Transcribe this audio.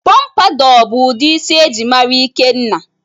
Pọmpadour bụ udi isi eji mara ikenna